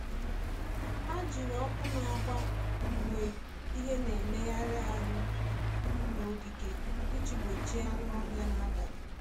Ha jiri ọkụ na-agba mgbe ihe na-emegharị ahụ n’ogige iji gbochie anụ ọhịa n’abalị.